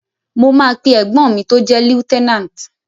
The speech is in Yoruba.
Mo máa pe ẹ̀gbọ́n mi tó jẹ́ Lieutenant.